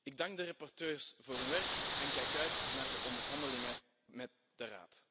Ik dank de rapporteurs voor hun werk en kijk uit naar de onderhandelingen met de Raad.